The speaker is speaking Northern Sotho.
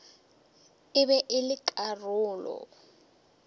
e be e le karolo